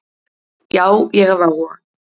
Já, ég hef áhuga.